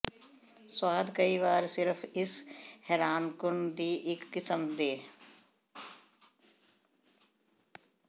ਸੁਆਦ ਕਈ ਵਾਰ ਸਿਰਫ਼ ਇਸ ਹੈਰਾਨਕੁੰਨ ਦੀ ਇੱਕ ਕਿਸਮ ਦੇ